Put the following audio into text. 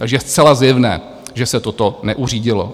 Takže je zcela zjevné, že se toto neuřídilo.